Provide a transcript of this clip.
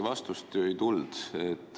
Vastust siiski ju ei tulnud.